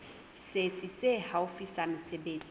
setsi se haufi sa mesebetsi